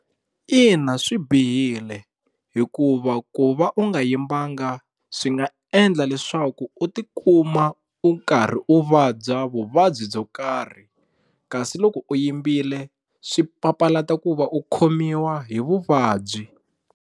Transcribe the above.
Ina swi bihile hikuva ku va u nga yimbanga swi nga endla leswaku u tikuma u karhi u vabya vuvabyi byo karhi kasi loko u yimbile swi papalata ku va u khomiwa hi vuvabyi.